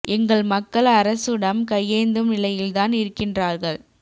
எங்கள் மக்கள் அரசுடம் கையேந்தும் நிலையில்தான் இருக்கின்றார்கள்